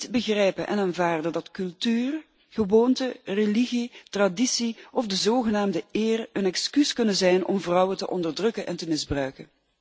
Ik kan niet begrijpen en aanvaarden dat cultuur, gewoonten, religie, traditie of de zogenaamde 'eer' een excuus kunnen zijn om vrouwen te onderdrukken en te misbruiken.